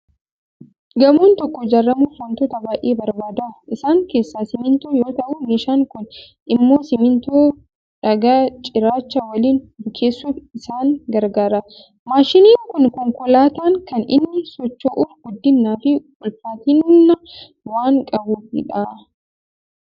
Gamoon tokkon ijaaramuuf waantota baay'ee barbaada. Isaan keessaa simmintoo yoo ta'u, meeshaan kun immoo simmintoo dhagaa cirrachaa waliin bukeessuuf isaan garagaara. Maashiniin kun konkolaataan kan inni socho'uuf guddinaa fi ulfaatina waan qabuufidha.